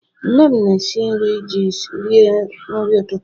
Nne m na-esi nri ji rie nri ụtụtụ